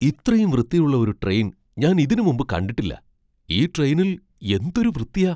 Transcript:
ഇത്രയും വൃത്തിയുള്ള ഒരു ട്രെയിൻ ഞാൻ ഇതിനു മുമ്പ് കണ്ടിട്ടില്ല! ഈ ട്രെയിനിൽ എന്തൊരു വൃത്തിയാ !